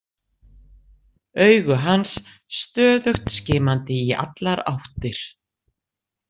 Augu hans stöðugt skimandi í allar áttir.